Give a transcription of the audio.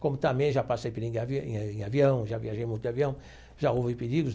Como também já passei perigo em avi em avião, já viajei muito de avião, já houve perigos.